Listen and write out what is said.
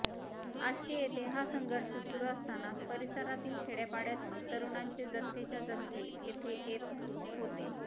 आष्टी येथे हा संघर्ष सुरू असतानाच परिसरातील खेडय़ापाडय़ातून तरुणांचे जत्थेच्या जत्थे येथे येत होते